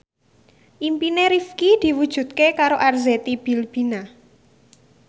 impine Rifqi diwujudke karo Arzetti Bilbina